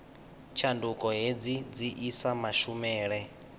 tshanduko hedzi dzi isa mashumele